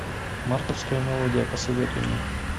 мартовская мелодия посоветуй мне